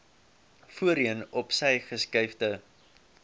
voorheen opsy geskuifde